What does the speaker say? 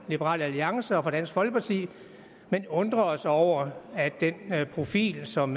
liberal alliance og dansk folkeparti men undrer os over den profil som